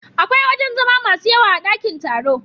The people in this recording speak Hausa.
Akwai wajen zama masu yawa a dakin taro.